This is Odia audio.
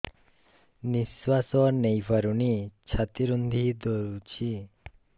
ନିଶ୍ୱାସ ନେଇପାରୁନି ଛାତି ରୁନ୍ଧି ଦଉଛି